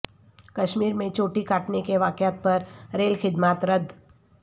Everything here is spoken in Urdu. کشمیر میں چوٹی کاٹنے کے واقعات پر ریل خدمات رد